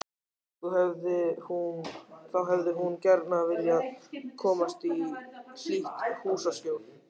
Þá hefði hún gjarna viljað komast í hlýtt húsaskjól.